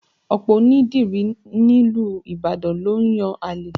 Ọ̀pọ̀ onídìrí nílùú Ibadan ló ń yan àlè